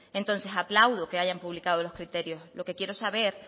entonces aplaudo que hayan publicado los criterios lo que quiero saber